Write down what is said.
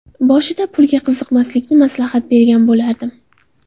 Boshida pulga qiziqmaslikni maslahat bergan bo‘lardim.